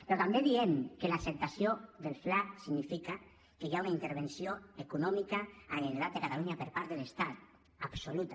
però també diem que l’acceptació del fla significa que hi ha una intervenció econòmica de la generalitat de catalunya per part de l’estat absoluta